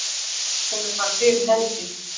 Hún er bara fyrir hendi.